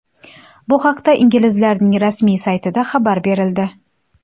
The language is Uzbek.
Bu haqda inglizlarning rasmiy saytida xabar berildi .